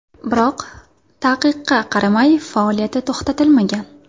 Biroq taqiqqa qaramay, faoliyati to‘xtatilmagan.